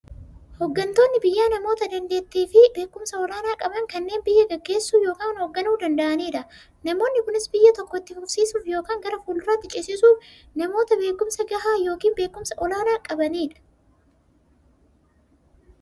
Hooggantoonni biyyaa namoota daanteettiifi beekumsa olaanaa qaban, kanneen biyya gaggeessuu yookiin hoogganuu danda'aniidha. Namoonni kunis, biyya tokko itti fufsiisuuf yookiin gara fuulduraatti ceesisuuf, namoota beekumsa gahaa yookiin beekumsa olaanaa qabaniidha.